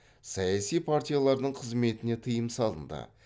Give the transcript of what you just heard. саяси партиялардың қызметіне тыйым салынды